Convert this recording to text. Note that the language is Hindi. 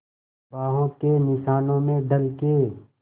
बाहों के निशानों में ढल के